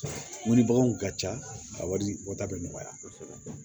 Wuli baganw ka ca a wari bɔta bɛ nɔgɔya kosɛbɛ